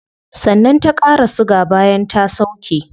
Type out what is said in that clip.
Sannan ta qara siga bayan ta sauke